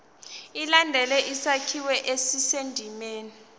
ilandele isakhiwo esisendimeni